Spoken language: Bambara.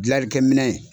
Gilalikɛ minɛ